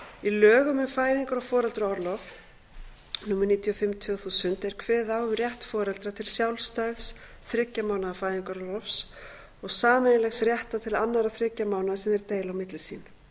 lögum um fæðingar og foreldraorlof númer níutíu og fimm tvö þúsund er kveðið á um rétt foreldra til sjálfstæðs þriggja mánaða fæðingarorlofs og sameiginlegs réttar til annarra þriggja mánaða sem þeir deila á milli sín